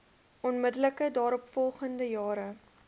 onmiddellik daaropvolgende jare